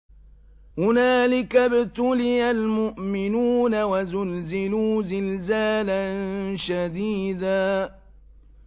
هُنَالِكَ ابْتُلِيَ الْمُؤْمِنُونَ وَزُلْزِلُوا زِلْزَالًا شَدِيدًا